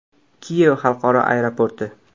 Kiyev xalqaro aeroporti.